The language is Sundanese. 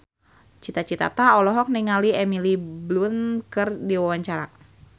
Cita Citata olohok ningali Emily Blunt keur diwawancara